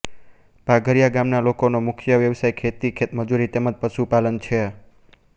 પાધરીયા ગામના લોકોનો મુખ્ય વ્યવસાય ખેતી ખેતમજૂરી તેમ જ પશુપાલન છે